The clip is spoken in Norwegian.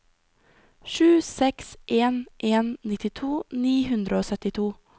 sju seks en en nittito ni hundre og syttito